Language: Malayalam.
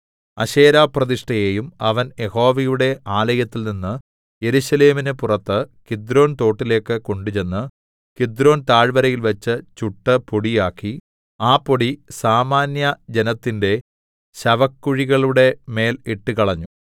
അശേരാപ്രതിഷ്ഠയെയും അവൻ യഹോവയുടെ ആലയത്തിൽനിന്ന് യെരൂശലേമിന് പുറത്ത് കിദ്രോൻതോട്ടിലേക്ക് കൊണ്ടുചെന്ന് കിദ്രോൻ താഴ്വരയിൽവെച്ച് ചുട്ടു പൊടിയാക്കി ആ പൊടി സാമാന്യജനത്തിന്റെ ശവക്കുഴികളുടെ മേൽ ഇട്ടുകളഞ്ഞു